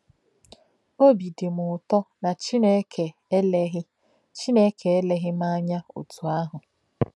Óbí dị m ụ̀tọ̀ na Chineke eléghì Chineke eléghì m ánya otú ahụ.